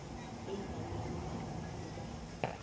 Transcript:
egameni labafundi bawo